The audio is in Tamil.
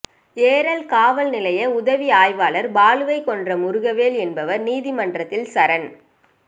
ஏரல் காவல் நிலைய உதவி ஆய்வாளர் பாலுவை கொன்ற முருகவேல் என்பவர் நீதிமன்றத்தில் சரண்